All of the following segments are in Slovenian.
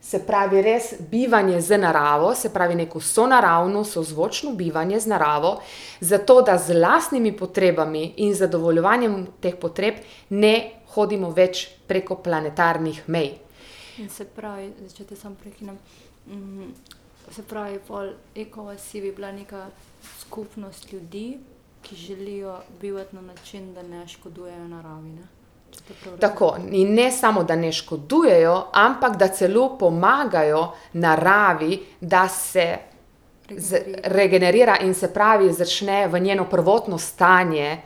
se pravi, res bivanje z naravo, se pravi neko sonaravno, sozvočno bivanje z naravo, zato da z lastnimi potrebami in zadovoljevanjem teh potreb ne hodimo več preko planetarnih mej. Tako. In ne samo, da ne škodujejo, ampak da celo pomagajo naravi, da se regenerira in, se pravi, začne v njeno prvotno stanje,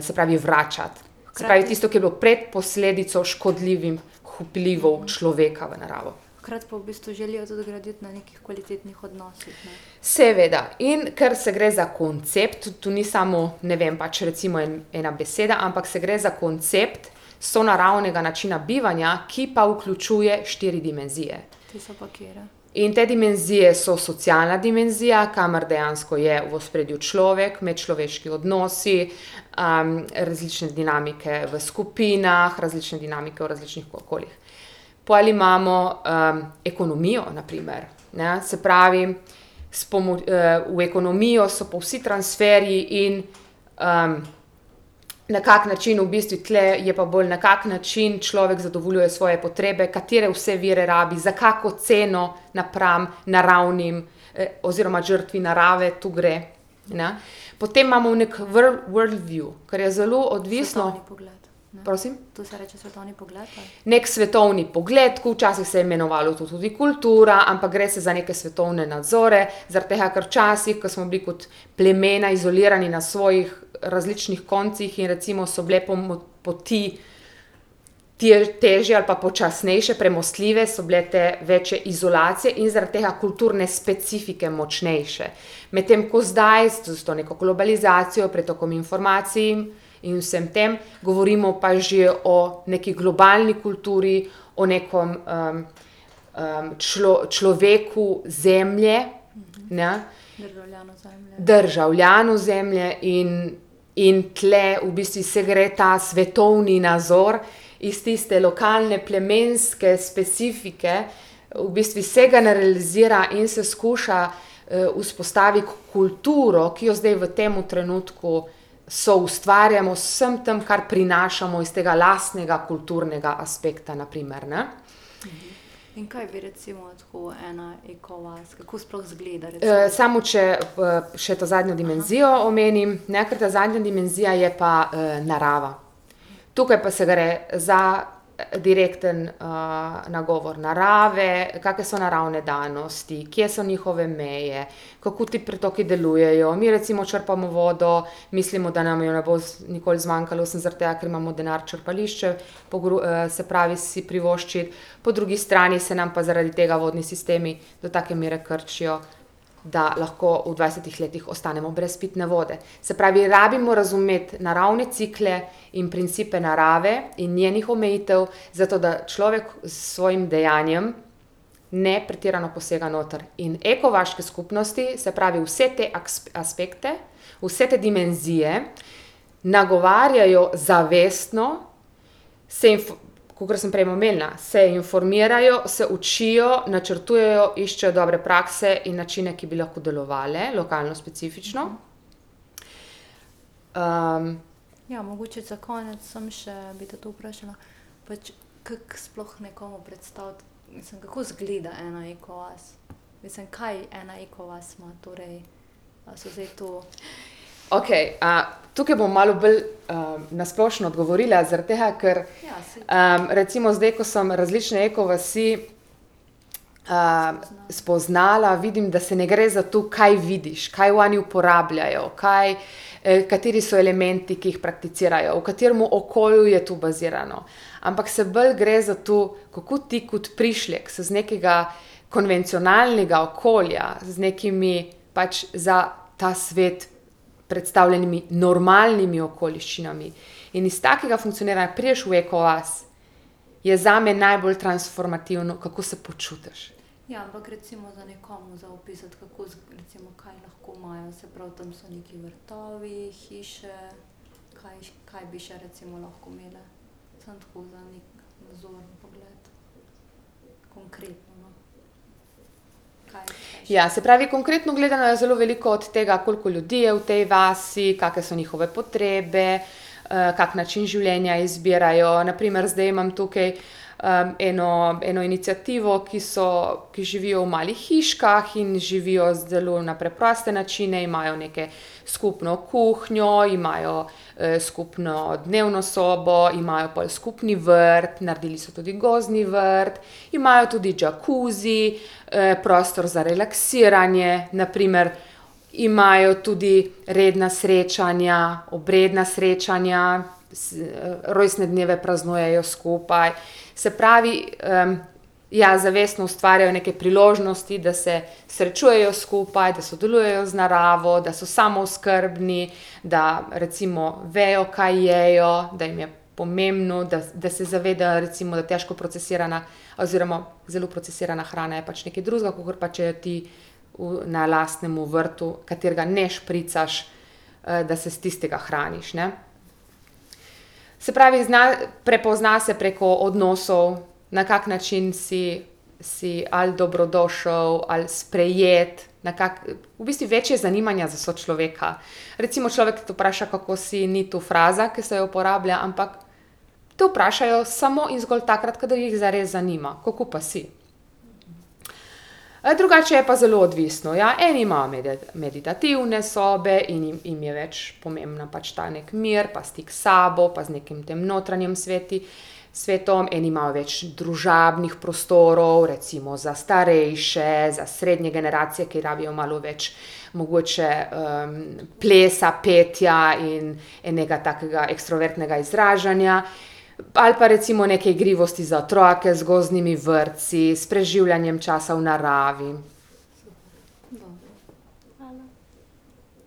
se pravi vračati. Se pravi, tisto, ki je bilo pred posledico škodljivim h vplivov človeka v naravo. Seveda. In ker se gre za koncept, to ni samo, ne vem, pač recimo en, ena beseda, ampak se gre za koncept sonaravnega načina bivanja, ki pa vključuje štiri dimenzije. In te dimenzije so socialna dimenzija, kamor dejansko je v ospredju človek, medčloveški odnosi, različne dinamike v skupinah, različne dinamike v različnih okoljih. Pol imamo, ekonomijo, na primer, ne. Se pravi, s v ekonomijo so pa vsi transferji in, na kak način, v bistvu tule je pa bolj, na kak način človek zadovoljuje svoje potrebe, katere vse vire rabi, za kako ceno napram naravnim, oziroma žrtvi narave tu gre, ne. Potem imamo ne vrlvju, kar je zelo odvisno ... Prosim? Neki svetovni pogled. Včasih se je imenovalo to tudi kultura. Ampak gre se za neke svetovne nazore, zaradi tega, ker včasih, ke smo bili kot plemena izolirani na svojih različnih koncih, in recimo so bile poti težje ali pa počasnejše premostljive, so bile te večje izolacije, in zaradi tega kulturne specifike močnejše. Medtem ko zdaj, s to neko globalizacijo, pretokom informacij in vsem tem, govorimo pa že o nekaj globalni kulturi, o nekom, človeku Zemlje, ne. Državljanu Zemlje. In in tule v bistvu se gre ta svetovni nazor iz tiste lokalne, plemenske specifike v bistvu se generalizira in se skuša, vzpostaviti kulturo, ki jo zdaj v tem trenutku soustvarjamo z vsem tem, kar prinašamo iz tega lastnega kulturnega aspekta na primer, ne. samo če, še ta zadnjo dimenzijo omenim, ne, ker ta zadnja dimenzija je pa, narava. Tukaj pa se gre za direktni, nagovor narave, kake so naravne danosti, kje so njihove meje, kako ti pretoki delujejo. Mi recimo črpamo vodo, mislimo, da nam je ne bo nikoli zmanjkalo, sem zaradi tega, ke imamo denar črpališče se pravi si privoščiti, po drugi strani se nam pa zaradi tega vodni sistemi do take mere krčijo, da lahko v dvajsetih letih ostanemo brez pitne vode. Se pravi, rabimo razumeti naravne cikle in principe narave in njenih omejitev, zato da človek s svojim dejanjem ne pretirano posega noter. In ekovaške skupnosti, se pravi, vse te aspekte, vse te dimenzije nagovarjajo zavestno, se kakor sem prej omenila, se informirajo, se učijo, načrtujejo, iščejo dobre prakse in načine, ki bi lahko delovale, lokalno specifično. Okej. tukaj bom malo bolj, na splošno odgovorila, zaradi tega, ker, recimo zdaj, ko sem različne ekovasi, spoznala, vidim, da se ne gre za to, kaj vidiš, kaj oni uporabljajo, kaj, kateri so elementi, ki jih prakticirajo, v katerem okolju je to bazirano, ampak se bolj gre za to, kako ti kot prišlek z z nekega konvencionalnega okolja, z nekimi pač za ta svet predstavljenimi normalnimi okoliščinami in iz takega funkcioniranja prideš v ekovas, je zame najbolj transformativno, kako se počutiš. Ja, se pravi, konkretno gledano je zelo veliko od tega, koliko ljudi je v tej vasi, kake so njihove potrebe, kak način življenja izbirajo. Na primer, zdaj imam tukaj, eno, eno iniciativo, ki so, ki živijo v malih hiškah in živijo zelo na preproste načine, imajo neko skupno kuhinjo, imajo, skupno dnevno sobo, imajo pol skupni vrt, naredili so tudi gozdni vrt, imajo tudi jacuzzi, prostor za relaksiranje na primer, imajo tudi redna srečanja, obredna srečanja, rojstne dneve praznujejo skupaj. Se pravi, ja, zavestno ustvarjajo neke priložnosti, da se srečujejo skupaj, da sodelujejo z naravo, da so samooskrbni, da recimo vejo, kaj jejo, da jim je pomembno, da da se zavedajo recimo, da težko procesirana oziroma zelo procesirana hrana je pač nekaj drugega, kakor pa če ti v na lastnemu vrtu, katerega ne špricaš, da se s tistega hraniš, ne. Se pravi, zna, prepozna se preko odnosov, na kak način si, si ali dobrodošel ali sprejet, nekako, v bistvu več je zanimanja za sočloveka. Recimo človek, ki te vpraša, kako si, ni tu fraza, ke se uporablja, ampak te vprašajo samo in zgolj takrat, kadar jih zares zanima. Kako pa si? drugače je pa zelo odvisno, ja. Eni imajo meditativne sobe in jim je več pomembna pač ta neki mir pa stik s sabo pa z nekim tem notranjim svetom, eni imajo več družabnih prostorov, recimo za starejše, za srednje generacije, ki rabijo malo več mogoče, plesa, petja in enega takega ekstravertnega izražanja, ali pa recimo neke igrivosti za otroke z gozdnimi vrtci, s preživljanjem časa v naravi.